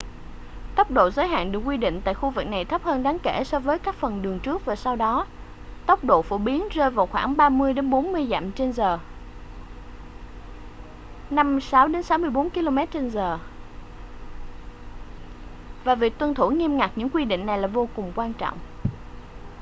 tốc độ giới hạn được quy định tại khu vực này thấp hơn đáng kể so với các phần đường trước và sau đó - tốc độ phổ biến rơi vào khoảng 35-40 dặm/h 56-64 km/h - và việc tuân thủ nghiêm ngặt những quy định này là vô cùng quan trọng